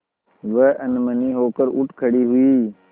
वह अनमनी होकर उठ खड़ी हुई